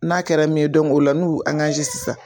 N'a kɛra min ye o la n'u y'u sisan.